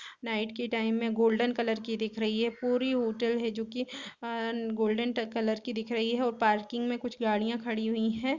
Night के time में golden colour की दिख रही है पूरी होटल है जो की अअ गोल्डन कलर की दिख रही है और पार्किंग में कुछ गाडियां खड़ी हुई है।